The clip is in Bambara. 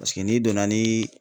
Paseke n'i donna ni